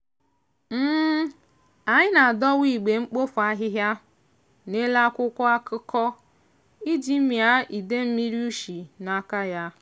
anyị na-adọwa igbe mkpofu ahịhịa n'elu akwụkwọ akụkọ iji mịa ide mmiri ushi n'aka ya.